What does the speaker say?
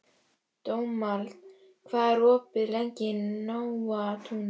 Dómald, hvað er opið lengi í Nóatúni?